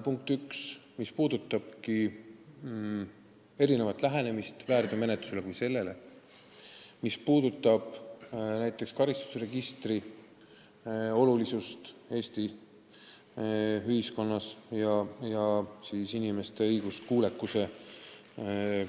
Tegu on olnud erineva lähenemisega väärteomenetlusele ja karistusregistri olulisusele Eesti ühiskonnas, inimeste õiguskuulekuse üle